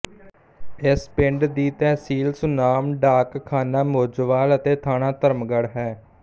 ਇਸ ਪਿੰਡ ਦੀ ਤਹਿਸੀਲ ਸੁਨਾਮ ਡਾਕਖਾਨਾ ਮੋਜੋਵਾਲ ਅਤੇ ਥਾਣਾ ਧਰਮਗੜ੍ਹ ਹੈ